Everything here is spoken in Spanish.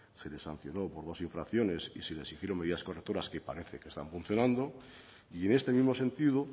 se les sancionó por dos infracciones y se le exigieron medidas correctoras que parece que están funcionando y en este mismo sentido